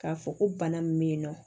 K'a fɔ ko bana min bɛ yen nɔ